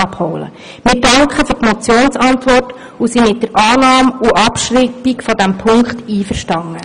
Wir danken für die Motionsantwort und sind mit der Annahme und Abschreibung dieses Punkts einverstanden.